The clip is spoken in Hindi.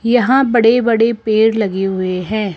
यहां बड़े बड़े पेड़ लगे हुए हैं।